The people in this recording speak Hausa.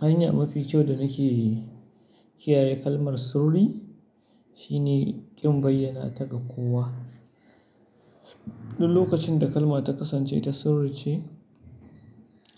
Hanya mafi kyau da nake kiyaye kalmar sirri shine kin bayyana ta ga kowa. Duk lokacin da kalma ta kasance ta sirri ce,